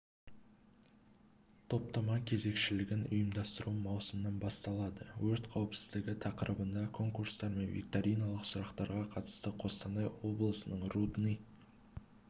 топтама кезекшілігін ұйымдастыру маусымнан басталады өрт қауіпсіздігі тақырыбында конкурстар мен викториналық сұрақтарға қатысты қостанай облысының рудный